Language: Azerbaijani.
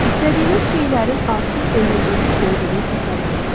İstədiyiniz şeylərin artıq özünüzünkü olduğunu təsəvvür edin.